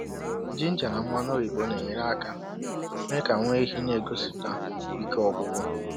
jinja na mmanụ oyibo na-enyere aka mee ka nwá ehi n'egosiputa ike ọgwụgwụ.